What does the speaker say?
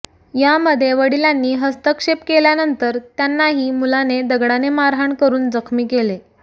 यामध्ये वडिलांनी हस्तक्षेप केल्यानंतर त्यांनाही मुलाने दगडाने मारहाण करून जखमी केले